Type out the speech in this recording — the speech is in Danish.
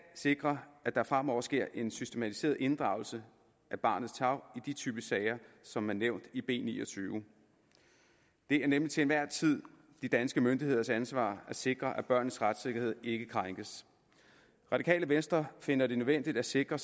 sikre at der fremover sker en systematiseret inddragelse af barnets tarv i de typer af sager som er nævnt i b niogtyvende det er nemlig til enhver tid de danske myndigheders ansvar at sikre at børnenes retssikkerhed ikke krænkes radikale venstre finder det nødvendigt at sikre